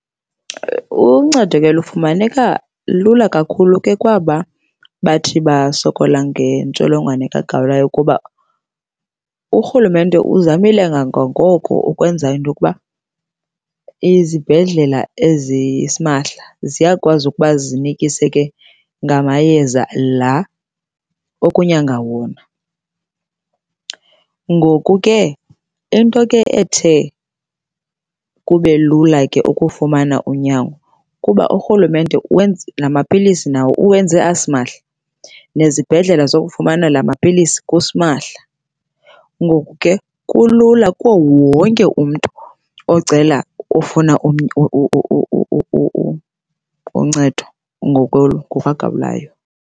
Uncedo ke lufumaneka lula kakhulu ke kwaba bathi basokola ngentsholongwane kagawulayo kuba urhulumente uzamile kangangoko ukwenza into yokuba izibhedlela ezisimahla ziyakwazi ukuba zinikise ke ngamayeza la okunyanga wona. Ngoku ke into ethe kube lula ke ukufumana unyango kuba urhulumenze wenze namapilisi nawo uwenze asimahla, nezibhedlele zokufumana lama pilisi kusimahla. Ngoku ke kulula kuwo wonke umntu ocela, ofuna uncedo ngoku kagawulayo.